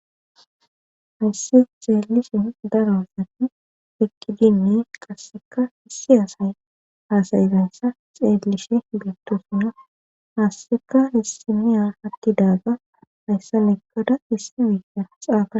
Hayssi zaallise darosati eqqidinni qasseka hissi asay hasayfensa xeellishe beettosuna haasseka hissimiya hattidaaga hayssa meggada hissi wiiiya xaaa